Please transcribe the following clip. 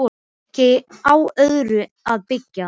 Hún hafði ekki á öðru að byggja.